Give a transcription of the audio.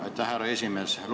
Aitäh, härra esimees!